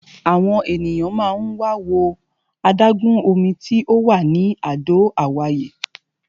Àwọn ènìyàn máa ń wá wo adágún omi tí ò wà ní Àdó Àwáyé.